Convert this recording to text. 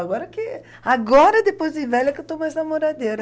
Agora que... Agora, depois de velha, que eu estou mais namoradeira.